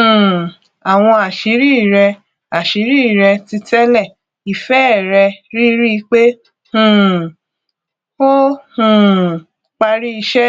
um àwọn àṣírí rẹ àṣírí rẹ títẹlé ìfẹ rẹ ríríi pé um ó um parí iṣẹ